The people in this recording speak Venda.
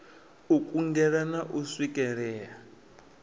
u kungela na u swikelea